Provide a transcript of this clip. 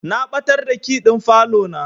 Na ɓatar da key ɗin falo na.